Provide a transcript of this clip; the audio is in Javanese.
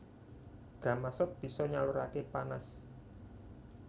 Gamasot bisa nyaluraké panas